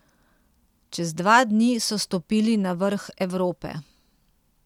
Čez dva dni so stopili na vrh Evrope.